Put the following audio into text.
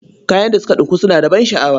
Kayan da suka ɗinku suna da ban sha'awa.